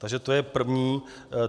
Takže to je první.